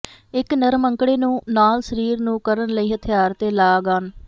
ਇੱਕ ਨਰਮ ਅੰਕੜੇ ਨੂੰ ਨਾਲ ਸਰੀਰ ਨੂੰ ਕਰਨ ਲਈ ਹਥਿਆਰ ਤੇ ਲਾੱਗਆਨ